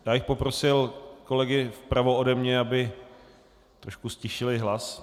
Já bych poprosil kolegy vpravo ode mne, aby trošku ztišili hlas.